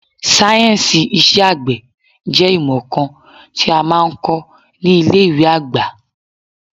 Sáyẹ̀nsì iṣẹ́ àgbẹ̀ jẹ́ ìmọ̀ kan tí a máa ń kọ ní ilé ìwé àgbà.